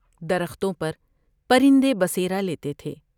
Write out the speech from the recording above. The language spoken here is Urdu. درختوں پر پرندے بسیرہ لیتے تھے ۔